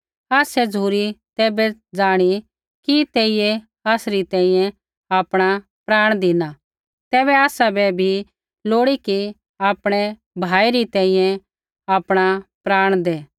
आसै झ़ुरी तैबै जाणी कि तेइयै आसरी तैंईंयैं आपणा प्राण धिना तैबै आसाबै भी लोड़ी कि आपणै भाई री तैंईंयैं आपणा प्राण दै